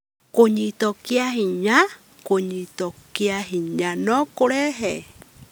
Kũnyitwo kĩa hinya: Kũnyitwo kĩa hinya no kũrehe